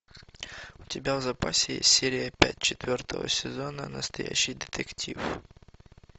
у тебя в запасе есть серия пять четвертого сезона настоящий детектив